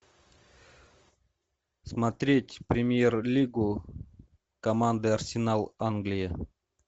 смотреть премьер лигу команды арсенал англия